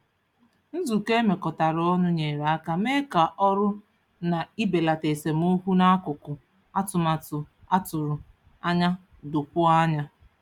Nzukọ e mekọtara ọnụ nyere aka mee ka ọrụ na ibelata esemokwu n'akụkụ atụmatụ a tụrụ anya dokwuo anya.